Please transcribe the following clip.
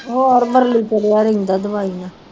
ਹੋਰ ਵਰਲੂ ਚੜਿਆ ਦਵਾਈ ਨਾ।